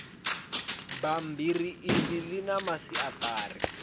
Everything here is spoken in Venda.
bammbiri iḽi ḽi na masiaṱari